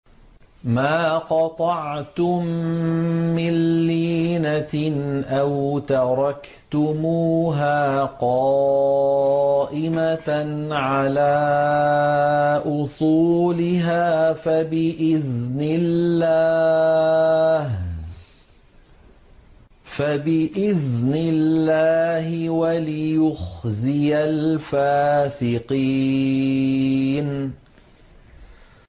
مَا قَطَعْتُم مِّن لِّينَةٍ أَوْ تَرَكْتُمُوهَا قَائِمَةً عَلَىٰ أُصُولِهَا فَبِإِذْنِ اللَّهِ وَلِيُخْزِيَ الْفَاسِقِينَ